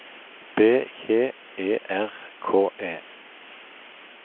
B J E R K E